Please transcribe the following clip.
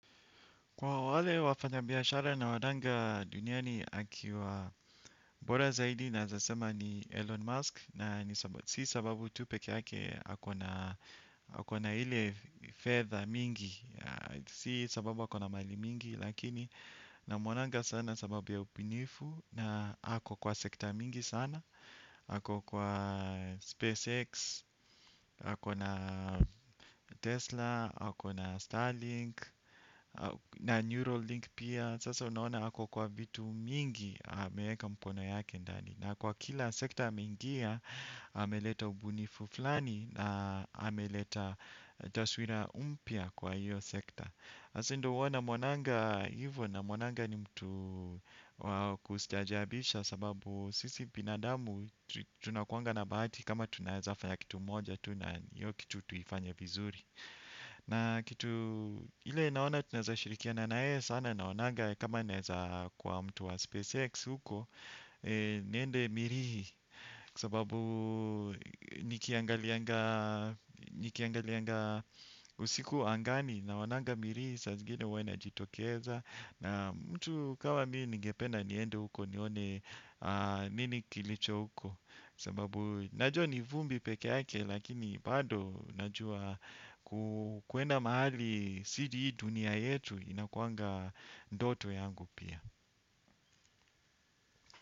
Kwa wale wafanya biashara nawaonanga duniani akiwa bora zaidi nawezasema ni Elon Musk na si sababu tu peke yake ako na ile fedha mingi. Si sababu ako na mali mingi lakini namuonanga sana sababu ya ubunifu na ako kwa sekta mingi sana ako kwa SpaceX, ako na Tesla, ako na Starlink na Neurolink pia, sasa unaona ako kwa vitu mingi ameweka mkono yake ndani na kwa kila sekta ameingia ameleta ubunifu fulani na ameleta taswira mpya kwa hiyo sekta. Sasa ndiyo huwa namwonanga hivyo namwonanga ni mtu wa kustaajabisha sababu sisi binadamu tunakuanga na bahati kama tunawezafanya kitu moja tu na hiyo kitu tuifanye vizuri. Na kitu ile naona tunawezashirikiana na yeye sana naonanga kama naweza kuwa mtu wa SpaceX huko niende mirihi. Kwa sababu nikiangalianga usiku angani naonanga mirihi saa zingini huwa inajitokeza. Na mtu kama mimi ningependa niende huko nione nini kilicho huko, sababu najua ni vumbi peke yake lakini bado najua kuenda mahali si hii dunia yetu inakuanga ndoto yangu pia.